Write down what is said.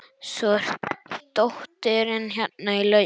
Svo er dóttirin hérna í lauginni.